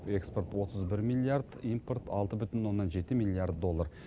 экспорт отыз бір миллиард импорт алты бүтін оннан жеті миллиард доллар